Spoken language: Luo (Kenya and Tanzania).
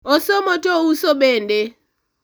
osomo to ouso bende